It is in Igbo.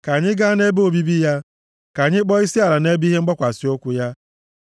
“Ka anyị gaa na-ebe obibi ya; ka anyị kpọọ isiala nʼebe ihe mgbakwasị ụkwụ ya.